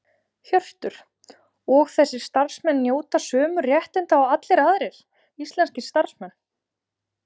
Hjörtur: Og þessir starfsmenn njóta sömu réttinda og allir aðrir íslenskir starfsmenn?